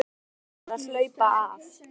Ungir menn verða að HLAUPA AF